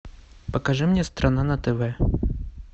покажи мне страна на тв